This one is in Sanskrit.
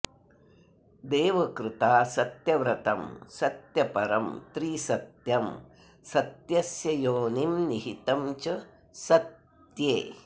देवकृता सत्यव्रतं सत्यपरं त्रिसत्यं सत्यस्य योनिं निहितं च सत्ये